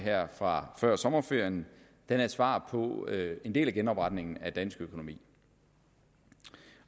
fra før sommerferien er et svar på en del af genopretningen af dansk økonomi